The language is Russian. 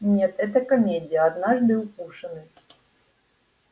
нет это комедия однажды укушенный